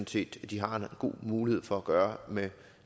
set de har en god mulighed for at gøre med